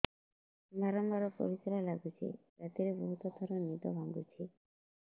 ବାରମ୍ବାର ପରିଶ୍ରା ଲାଗୁଚି ରାତିରେ ବହୁତ ଥର ନିଦ ଭାଙ୍ଗୁଛି